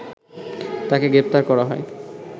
তাকে গ্রেপ্তার করা হয়